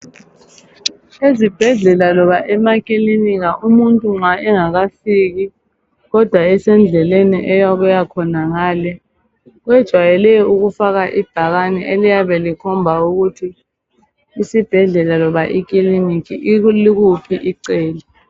Ezibhedlela loba emakilinika umuntu nxa engakafiki kodwa esendleleni eyokuya khonangale kwejayele ukufaka ibhakane eliyabe likhomba ukuthi isibhedlela loba ikilinika ikuliphi Icele.